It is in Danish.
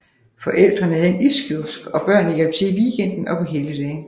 Forældrene havde en iskiosk og børnene hjalp til i weekenden og på helligdage